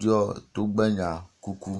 ɖɔ togbenya kuku.